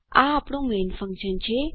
આ આપણું main function છે